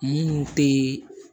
Mun tee